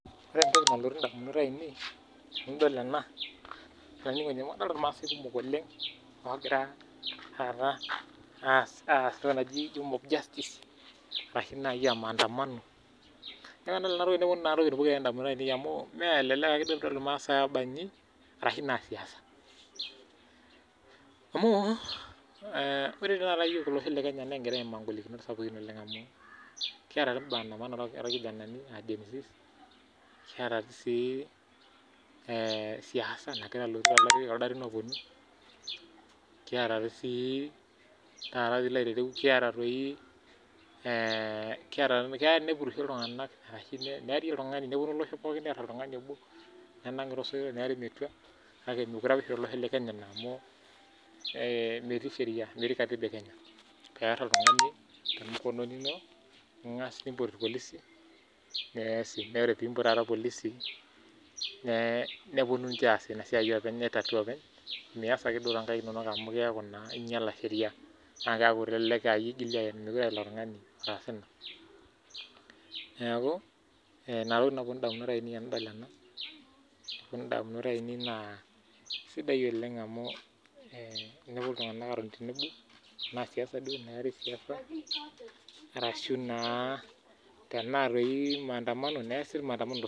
Ore entoki nalotu ndamunot ainei tanadol ena adol irmaasai kumok oleng ogira taata aas entoki naji mob justice ashu maandamano na kadol enatoki nelotu ndamunot ainei amu melelek ake pidol irmaasai kumok oba nji arashu Siasa amu ore yiok kingira aimaa ngolikinot kumok amu kiata ake maandamano orkijanani le genz nikiata si siasa nagira aloti tekuldo arin ogira aponu keya neari oltungani nepurisho nelotu nenang olosho pooki nenengi tosoitok nearietua kake meeti Sheria piar oltungani kenarikino nimpot irpolisioee pimpot irpolisi neponu aitatua amu kelelek aa iyie itokini aen mekute aa olapa tunganu otaasa ena neaku inatokitin nalotu ndamunot ainei tanadol ena na sidai olenh teneponu ltunganak atoni tenebo ata ana siasa arashu naa arashu tanaa maandamano neasie tosotua